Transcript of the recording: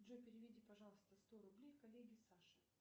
джой переведи пожалуйста сто рублей коллеге саше